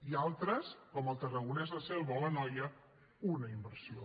i altres com el tarragonès la selva o l’anoia una inversió